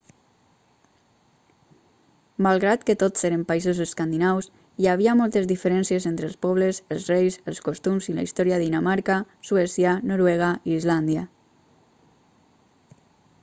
malgrat que tots eren països escandinaus hi havia moltes diferències entre els pobles els reis els costums i la història de dinamarca suècia noruega i islàndia